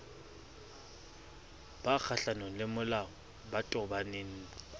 ba kgohlanong lemolao ba tobaneng